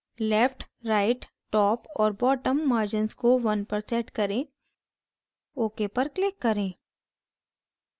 left right top और bottom margins को 1 पर set करें ok पर click करें